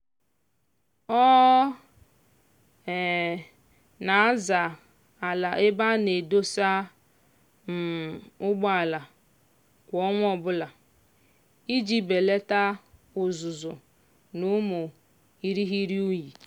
ọ um na-aza ala ebe a na-edosa um ụgbọala kwa ọnwa ọbụla iji belata uzuzu na ụmụ irighiri unyi.